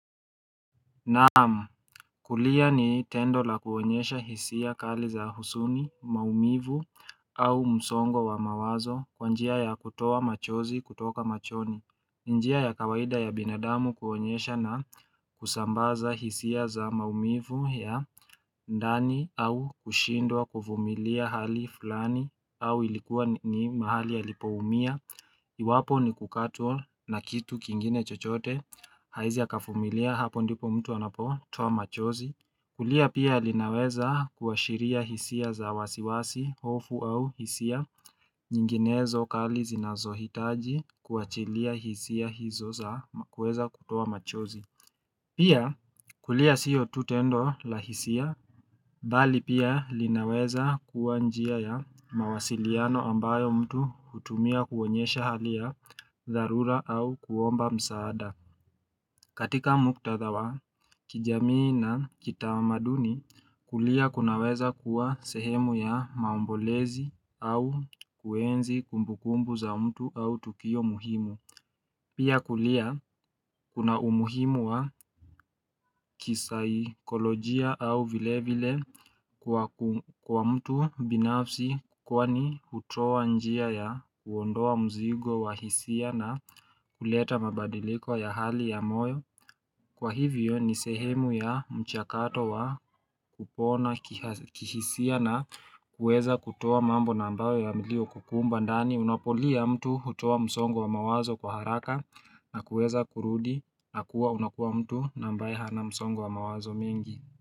Naam kulia ni tendo la kuonyesha hisia kali za husuni maumivu au msongo wa mawazo kwa njia ya kutoa machozi kutoka machoni njia ya kawaida ya binadamu kuonyesha na kusambaza hisia za maumivu ya ndani au kushindwa kuvumilia hali fulani au ilikuwa ni mahali alipoumia Iwapo ni kukatwa na kitu kingine chochote haezi akavumilia hapo ndipo mtu anapo toa machozi kulia pia linaweza kuashiria hisia za wasiwasi, hofu au hisia, nyinginezo kali zinazohitaji kuachilia hisia hizo za kuweza kutoa machozi Pia kulia sio tu tendo la hisia, bali pia linaweza kuwa njia ya mawasiliano ambayo mtu hutumia kuonyesha hali ya dharura au kuomba msaada. Katika muktadha wa kijamii na kitamaduni kulia kunaweza kuwa sehemu ya maombolezi au kuenzi kumbukumbu za mtu au tukio muhimu. Pia kulia kuna umuhimu wa kisaikolojia au vile vile kwa mtu binafsi kwani hutoa njia ya kuondoa mzigo wa hisia na kuleta mabadiliko ya hali ya moyo Kwa hivyo ni sehemu ya mchakato wa kupona kihisia na kueza kutoa mambo na ambayo yaliyokukumba ndani unapolia mtu hutoa msongo wa mawazo kwa haraka na kuweza kurudi na kuwa unakuwa mtu na ambaye hana msongo wa mawazo mingi.